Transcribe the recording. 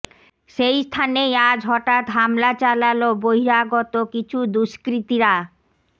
সেই স্থানেই আজ হঠাৎ হামলা চালালো বহিরাগত কিছু দুষ্কৃতিরা